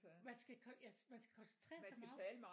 Man skal ja man skal koncentrere sig meget